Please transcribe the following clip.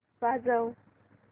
वाजव